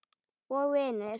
Og vinir.